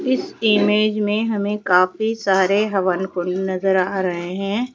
इस इमेज में हमें काफी सारे हवन कुंड नजर आ रहे हैं।